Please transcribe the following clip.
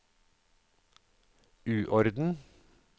uorden